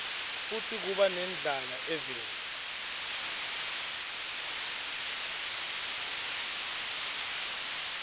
futsi kuba nendlala eveni